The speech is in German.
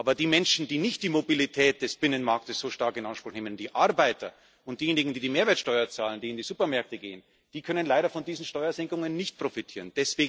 Aber die Menschen, die nicht die Mobilität des Binnenmarktes so stark in Anspruch nehmen, die Arbeiter und diejenigen, die die Mehrwertsteuer zahlen, die in die Supermärkte gehen, die können leider von diesen Steuersenkungen nicht profitieren.